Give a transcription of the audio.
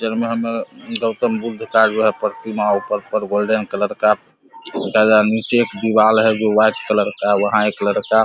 picture मे हमे गौतम बुद्ध का जो है प्रतिमा ऊपर ऊपर गोल्डन कलर का और नीचे एक दिवार है वो व्हाइट कलर का है वहां एक लड़का --